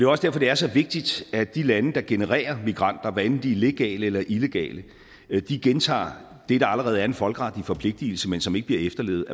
også derfor det er så vigtigt at de lande der genererer migranter hvad enten de er legale eller illegale gentager det der allerede er en folkeretlig forpligtelse men som ikke bliver efterlevet